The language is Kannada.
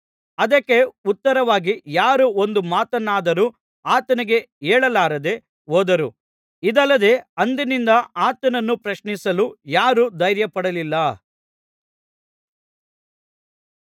ಅದಕ್ಕೆ ಉತ್ತರವಾಗಿ ಯಾರೂ ಒಂದು ಮಾತನ್ನಾದರೂ ಆತನಿಗೆ ಹೇಳಲಾರದೆ ಹೋದರು ಇದಲ್ಲದೆ ಅಂದಿನಿಂದ ಆತನನ್ನು ಪ್ರಶ್ನಿಸಲು ಯಾರೂ ಧೈರ್ಯಪಡಲಿಲ್ಲ